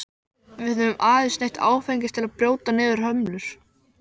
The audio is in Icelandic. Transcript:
Við höfum aðeins neytt áfengis til að brjóta niður hömlur.